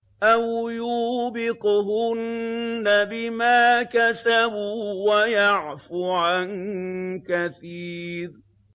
أَوْ يُوبِقْهُنَّ بِمَا كَسَبُوا وَيَعْفُ عَن كَثِيرٍ